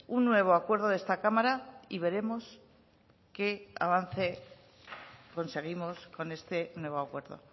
un nuevo acuerdo de esta cámara y veremos qué avance conseguimos con este nuevo acuerdo